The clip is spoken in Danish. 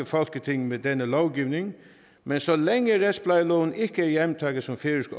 folketing med denne lovgivning men så længe retsplejeloven ikke er hjemtaget som færøsk